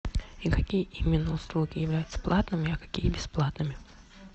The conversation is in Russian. и какие именно услуги являются платными а какие бесплатными